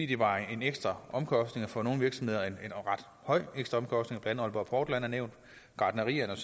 det var en ekstra omkostning og for nogle virksomheder en ret høj ekstra omkostning blandt andet aalborg portland er nævnt gartnerierne